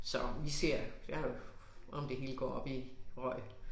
Så vi ser jeg har jo om det hele går op i røg